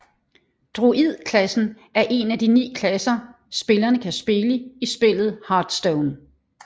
Druid klassen er en af de ni klasser spillerne kan spille i spillet Hearthstone